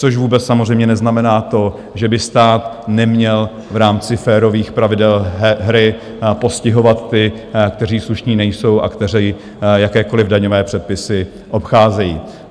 Což vůbec samozřejmě neznamená to, že by stát neměl v rámci férových pravidel hry postihovat ty, kteří slušní nejsou a kteří jakékoliv daňové předpisy obcházejí.